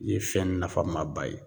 Ye fɛn nafama ba ye